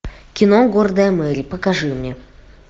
кино гордая мэри покажи мне